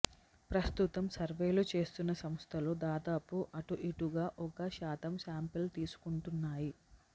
ప్రస్తుతం సర్వేలు చేస్తున్న సంస్థలు దాదాపు అటు ఇటుగా ఒక్క శాతం శాంపిల్ తీసుకుంటున్నాయి